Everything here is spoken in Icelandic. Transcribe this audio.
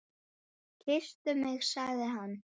Kysstu mig sagði hann.